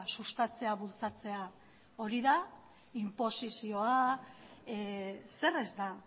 sustatzea bultzatzea hori da inposizioa zer ez da